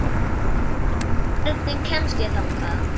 Hreimur, hvernig kemst ég þangað?